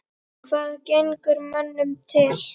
Hvað gengur mönnum til?